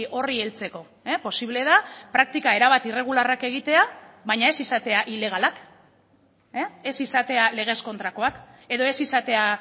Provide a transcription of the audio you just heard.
horri heltzeko posible da praktika erabat irregularrak egitea baina ez izatea ilegalak ez izatea legez kontrakoak edo ez izatea